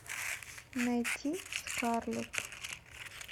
найти скарлетт